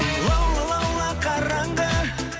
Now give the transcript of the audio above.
лаула лаула қараңғы